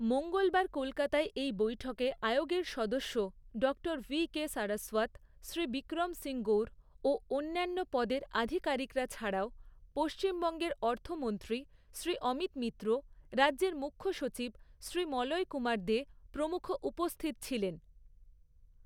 মঙ্গলবার কলকাতায় এই বৈঠকে আয়োগের সদস্য ডক্টর ভি.কে. সারস্বত, শ্রী বিক্রম সিং গউর ও অন্যান্য পদের আধিকারিকরা ছাড়াও পশ্চিমবঙ্গের অর্থমন্ত্রী শ্রী অমিত মিত্র, রাজ্যের মুখ্যসচিব শ্রী মলয় কুমার দে প্রমুখ উপস্থিত ছিলেন।